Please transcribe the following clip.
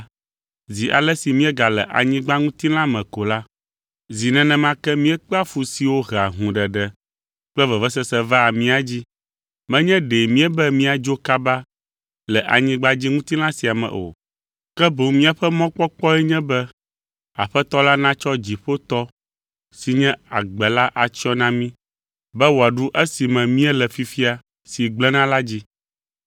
Zi ale si míegale anyigbadziŋutilã me ko la, zi nenema ke míekpea fu siwo hea hũɖeɖe kple vevesese vaa mía dzi. Menye ɖe míebe míadzo kaba le anyigbadziŋutilã sia me o, ke boŋ míaƒe mɔkpɔkpɔe nye be Aƒetɔ la natsɔ dziƒotɔ si nye agbe la atsyɔ na mí, be wòaɖu esi me míele fifia si gblẽna la dzi.